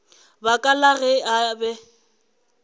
baka la ge a be